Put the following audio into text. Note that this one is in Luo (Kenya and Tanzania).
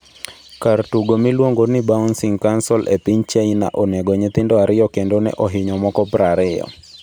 Kar tugo miliongo ni Bouncy castle e piny china onego nyithindo 2 kendo ne ohinyo moko 20